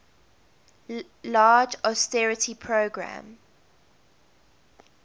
large austerity program